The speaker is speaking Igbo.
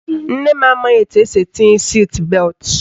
Nne m amaghị etu esi etinye siit beltụ.